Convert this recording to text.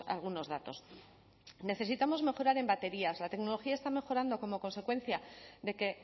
algunos datos necesitamos mejorar en baterías la tecnología está mejorando como consecuencia de que